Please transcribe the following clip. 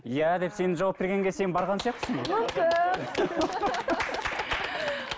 иә деп сен жауап бергенге сен барған сияқтысың ғой мүмкін